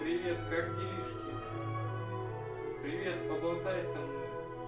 привет как делишки привет поболтай со мной